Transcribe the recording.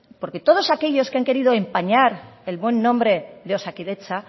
porque todos aquellos que han querido empañar el buen nombre de osakidetza